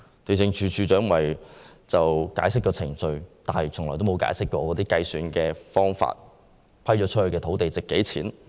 地政總署署長只是解釋程序，但從沒解釋計算方法或披露已租出土地的價值。